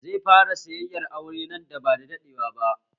Zai fara sayayyan aure nan ba da daɗewa ba